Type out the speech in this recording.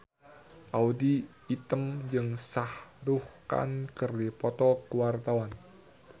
Audy Item jeung Shah Rukh Khan keur dipoto ku wartawan